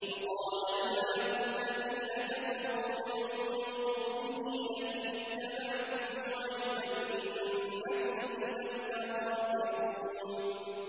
وَقَالَ الْمَلَأُ الَّذِينَ كَفَرُوا مِن قَوْمِهِ لَئِنِ اتَّبَعْتُمْ شُعَيْبًا إِنَّكُمْ إِذًا لَّخَاسِرُونَ